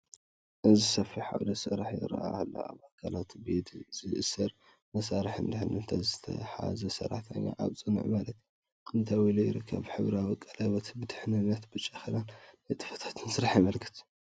እዚ ሰፊሕ ዓውዲ ስራሕ ይርአ ኣሎ። ኣብ ኣካላቱ ብኢድ ዝእሰር መሳርሕን ድሕነትን ዝሓዘ ሰራሕተኛ ኣብ ጽኑዕ መሬት ደው ኢሉ ይርከብ። ሕብራዊ ቀለቤት ድሕነትን ብጫ ክዳንን ንጥፈታት ስራሕ የመልክት።